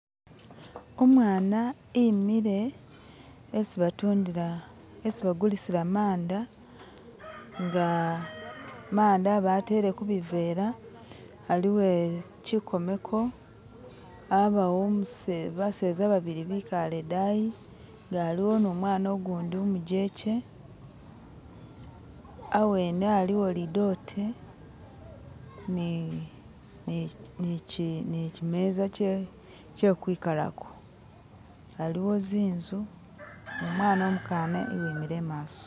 Umwana imile esi batundila esi bagulisila manda inga manda batele kubivela haliwo chikomeko habawo umuse baseza babili bikale idayi nga aliwo numwana gundi umujeche hawene haliwo lidote ni ni chi ni chimeza kyekwikalako haliwo zinzu nu mwana umukana uwimile imaso